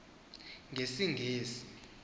ngesingesi